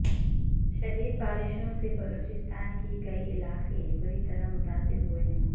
شدید بارشوں سے بلوچستان کے کئی علاقے بری طرح متاثر ہوئے ہیں